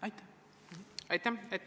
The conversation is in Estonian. Aitäh!